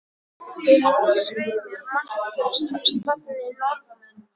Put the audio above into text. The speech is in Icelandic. Þið hafið svei mér margt fyrir stafni, norðanmenn.